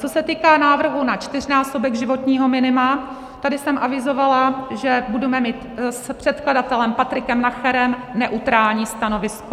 Co se týká návrhu na čtyřnásobek životního minima, tady jsem avizovala, že budeme mít s předkladatelem Patrikem Nacherem neutrální stanovisko.